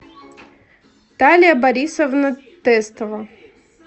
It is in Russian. талия борисовна тестова